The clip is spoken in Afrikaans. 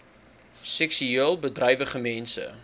seksueel bedrywige mense